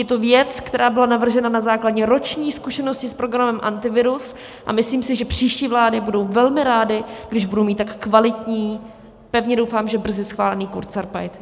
Je to věc, která byla navržena na základě roční zkušenosti s programem Antivirus, a myslím si, že příští vlády budou velmi rády, když budou mít tak kvalitní, pevně doufám, že brzy schválený kurzarbeit.